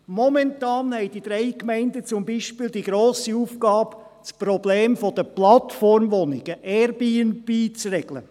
Momentan haben die drei Gemeinden beispielsweise die grosse Aufgabe, das Problem der Plattformwohnungen Airbnb zu regeln.